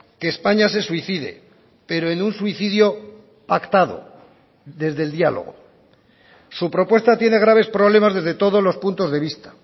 que españa se suicide pero en un suicidio pactado desde el diálogo su propuesta tiene graves problemas desde todos los puntos de vista